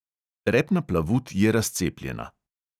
Repna plavut je razcepljena.